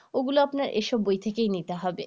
ওগুলা আপনার এসব বই থেকেই নিতে হবে